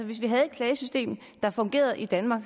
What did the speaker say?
hvis vi havde et klagesystem der fungerede i danmark